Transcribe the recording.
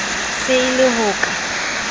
se e le ho ka